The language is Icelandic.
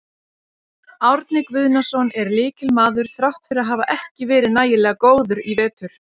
Árni Guðnason er lykilmaður þrátt fyrir að hafa ekki verið nægilega góður í vetur.